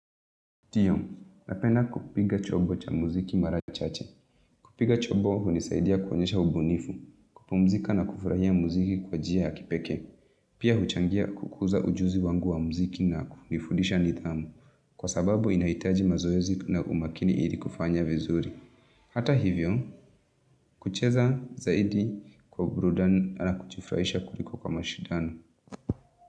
Ndiyo, napenda kupiga chombo cha muziki mara chache. Kupiga chombo hunisaidia kuonyesha ubunifu. Kupumzika na kufurahia muziki kwa njia ya kipekee. Pia huchangia kukuza ujuzi wangu wa muziki na kunifundisha nidhamu. Kwa sababu inahitaji mazoezi na umakini ili kufanya vizuri. Hata hivyo, kucheza zaidi kwa uburudani ala kujifurahisha kuliko kama mashindano.